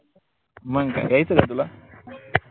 मंग काय यायच का तुला?